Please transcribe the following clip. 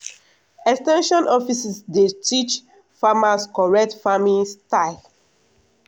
ex ten sion offices dey teach farmers correct farming style.